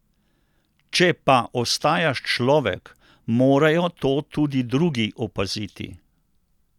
Če pa ostajaš človek, morajo to tudi drugi opaziti!